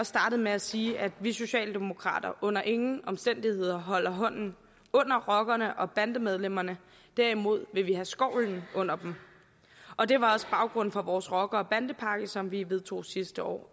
startede med at sige nemlig at vi socialdemokrater under ingen omstændigheder holder hånden under rockerne og bandemedlemmerne derimod vil vi have skovlen under dem og det var også baggrunden for vores rocker og bandepakke som vi vedtog sidste år